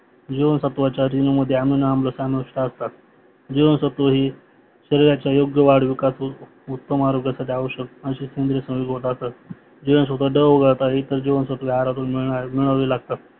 जिवानस्यत्वाच्या रेणुमध्ये आम्ल आणि आम्लसत्व समाविस्टअसतात. जीवांसत्व हे शरीराच्या योग्यवेळी विकासहोऊन उत्तम आरोग्यासाठी आवश्य जीवांसत्व ड ओघाडता इतर जीवनसत्वे आहारातून मिळवलेले असतात